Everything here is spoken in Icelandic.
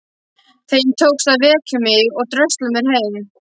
Þeim tókst að vekja mig og drösla mér heim.